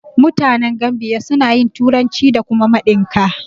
Mutanen Gambiya suna yin turanci da kuma Mandinka.